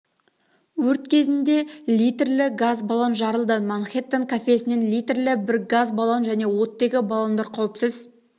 өрт кезінде литрлі газ баллон жарылды манхеттен кафесінен литрлі бір газ баллон және оттегі баллондар қауіпсіз